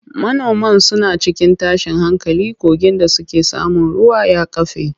Manoman suna cikin tashin hankali kogin da suke samun ruwa ya kafe.